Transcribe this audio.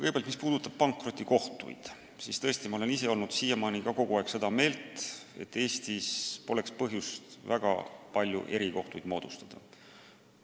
Kõigepealt, mis puudutab pankrotikohtuid, siis ma ise olen siiamaani olnud seda meelt, et Eestis pole põhjust väga palju erikohtuid moodustada.